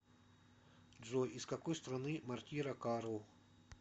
джой из какой страны мортира карл